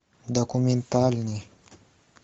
документальный